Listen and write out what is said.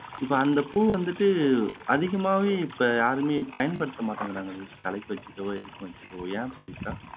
இப்போ அந்த பூ வந்துட்டு அதிகமாவே இப்போ யாருமே பயன்படுத்த மாட்டேங்குறாங்களே தலைக்கு வைக்குறதோ இதுக்கு வைக்குறதோ ஏன் பவித்ரா